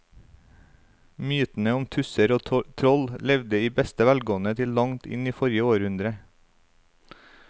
Mytene om tusser og troll levde i beste velgående til langt inn i forrige århundre.